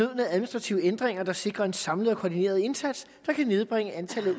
administrative ændringer der sikrer en samlet og koordineret indsats der kan nedbringe antallet af